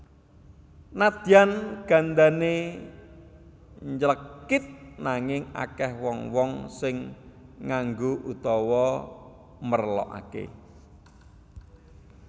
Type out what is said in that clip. Nadyan gandane nylekit nanging akeh wong wong sing nganggo utawa merlokake